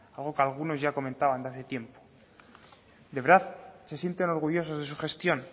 algo que algunos ya comentaban hace tiempo de verdad se sienten orgullosos de su gestión